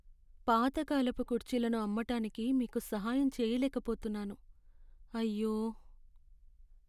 పాతకాలపు కుర్చీలను అమ్మటానికి మీకు సహాయం చేయలేకపోతున్నాను, అయ్యో.